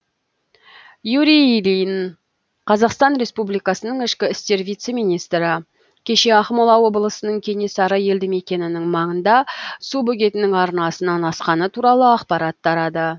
юрий ильин қазақстан республикасының ішкі істер вице министрі кеше ақмола облысының кенесары елді мекенінің маңында су бөгетінің арнасынан асқаны туралы ақпарат тарады